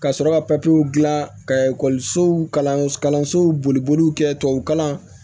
Ka sɔrɔ ka papiyew dilan ka ekɔlisow kalanso boliliw kɛ tubabukalan